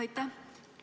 Aitäh!